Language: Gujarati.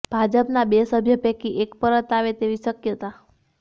ભાજપનાં બે સભ્ય પૈકી એક પરત આવે તેવી શક્યતા